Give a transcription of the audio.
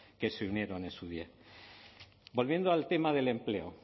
que se unieron en su día volviendo al tema del empleo